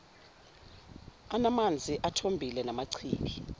anamanzi athombile namachibi